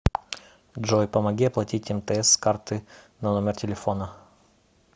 джой помоги оплатить мтс с карты на номер телефона